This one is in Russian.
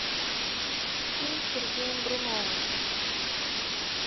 фильм с сергеем буруновым